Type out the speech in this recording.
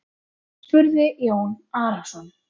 spurði Jón Arason.